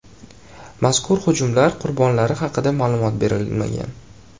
Mazkur hujumlar qurbonlari haqida ma’lumot berilmagan.